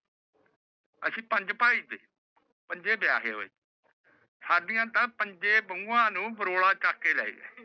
ਅਸੀਂ ਪੰਜ ਭਾਇ ਨੇ ਪੰਜੇ ਵਿਆਹੈ ਹੋਏ ਸਾਡੀਆਂ ਤਾ ਪੰਜੇ ਬਹੁਆ ਨੂ ਬਰੋਰਾ ਚੂਕ ਕੇ ਲੈ ਗਯਾ